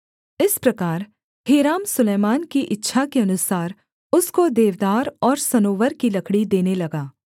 इस प्रकार हीराम सुलैमान की इच्छा के अनुसार उसको देवदार और सनोवर की लकड़ी देने लगा